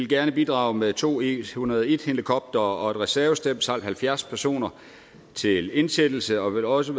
gerne bidrage med to eh101 helikoptere og et reservestel samt halvfjerds personer til indsættelse også